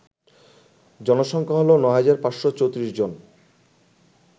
জনসংখ্যা হল ৯৫৩৪ জন